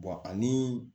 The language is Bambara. ani